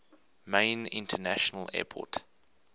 main international airport